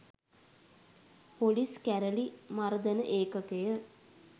police කැරළි මර්දන ඒකකය